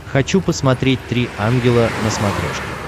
хочу посмотреть три ангела на смотрешке